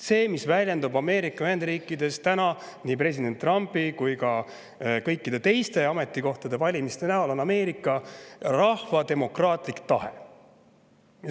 See, mis väljendub Ameerika Ühendriikides nii presidendi kui ka kõikide teiste valimistel, on Ameerika rahva demokraatlik tahe.